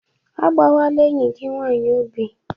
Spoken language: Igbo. Agbawala enyi gị nwanyị obi!